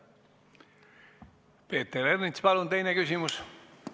Peeter Ernits, palun teine küsimus!